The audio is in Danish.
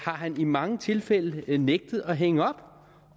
han i mange tilfælde nægtet at hænge op